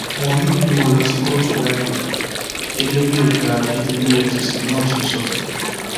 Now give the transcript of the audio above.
wọn yóò gbé wọn lọ sí kóòtù láìpẹ gẹgẹ bí ọgá akéde efcc náà ṣe sọ